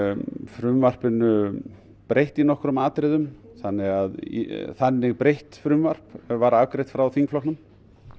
frumvarpinu breytt í nokkrum atriðum þannig að þannig breytt frumvarp var afgreitt frá þingflokknum